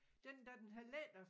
Den da den havde lettet